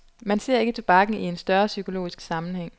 Man ser ikke tobakken i en større psykologisk sammenhæng.